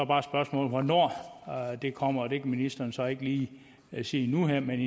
bare spørgsmålet hvornår det kommer det ministeren så ikke lige sige nu og her men